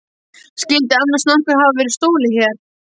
Skyldi annars nokkru hafa verið stolið hér?